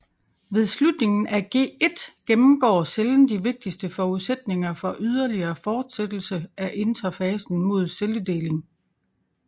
Ved slutningen af G1 gennemgår cellen de vigtigste forudsætninger for ydeligere forsættelse af interfasen mod celledeling